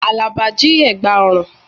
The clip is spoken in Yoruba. Àlàbá jí ẹ̀gbà ọrùn